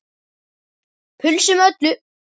Pulsu með öllu.